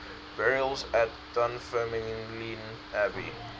burials at dunfermline abbey